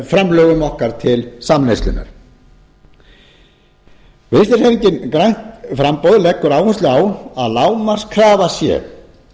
framlögum okkar til samneyslunnar vinstri hreyfingin grænt framboð leggur áherslu á að lágmarkskrafa sé